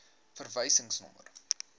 verwysingsnommer